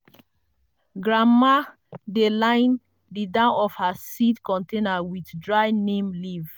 grandma dey line the down of her seed container with dry neem leaf.